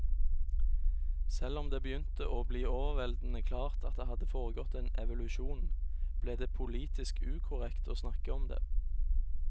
Selv om det begynte å bli overveldende klart at det hadde foregått en evolusjon, ble det politisk ukorrekt å snakke om det.